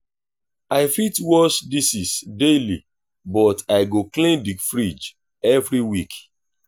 i fit wash dishes daily but i go clean the fridge every week.